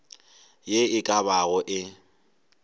ye e ka bago e